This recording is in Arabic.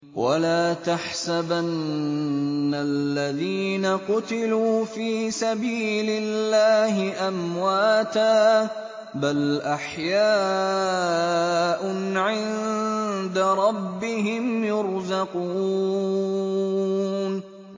وَلَا تَحْسَبَنَّ الَّذِينَ قُتِلُوا فِي سَبِيلِ اللَّهِ أَمْوَاتًا ۚ بَلْ أَحْيَاءٌ عِندَ رَبِّهِمْ يُرْزَقُونَ